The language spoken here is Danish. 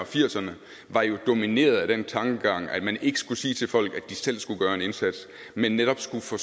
firserne var jo domineret af den tankegang at man ikke skulle sige til folk at de selv skulle gøre en indsats men netop skulle få